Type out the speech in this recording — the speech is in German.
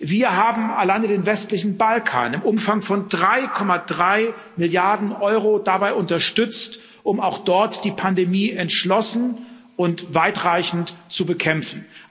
Wir haben allein den westlichen Balkan im Umfang von 3,3 Milliarden Euro dabei unterstützt, auch dort die Pandemie entschlossen und weitreichend zu bekämpfen.